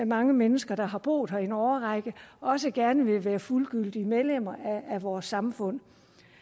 mange mennesker der har boet her i en årrække også gerne vil være fuldgyldige medlemmer af vores samfund